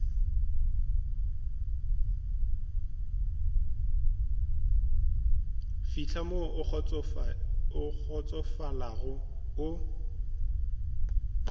fihla mo o kgotsofalago o